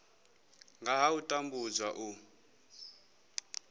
nga ha u tambudzwa u